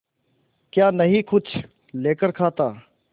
क्या नहीं कुछ लेकर खाता